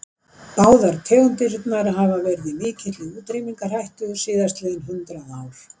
Báðar tegundirnar hafa verið í mikilli útrýmingarhættu síðastliðin hundrað ár.